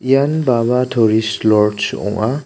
ian baba toris loj ong·a.